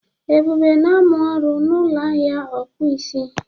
Ebube na-amụ ọrụ n'ụlọ ahịa ọkpụisi